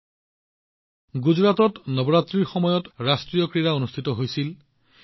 আপোনালোকে দেখিছে যে গুজৰাটত নৱৰাত্ৰিৰ সময়ত ৰাষ্ট্ৰীয় ক্ৰীড়া অনুষ্ঠিত হৈছিল